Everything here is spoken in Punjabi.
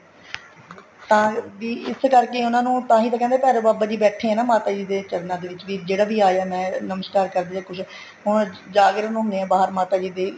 ਤਾਂ ਵੀ ਇਸ ਕਰਕੇ ਉਹਨਾ ਨੂੰ ਤਾਂਹੀ ਤਾਂ ਕਹਿੰਦੇ ਭੈਰੋ ਬਾਬਾ ਜੀ ਬੈਠੇ ਹੈ ਮਾਤਾ ਜੀ ਦੇ ਚਰਨਾਂ ਵਿੱਚ ਵੀ ਜਿਹੜਾ ਵੀ ਆਇਆ ਮੈਂ ਨਮਸ਼ਕਾਰ ਕਰਦੇ ਹੈ ਕੁੱਛ ਹੁਣ ਜਾਗਰਣ ਹੁੰਦੇ ਹੈ ਮਾਤਾ ਜੀ ਦੇ